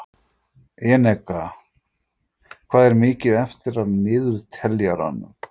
Eneka, hvað er mikið eftir af niðurteljaranum?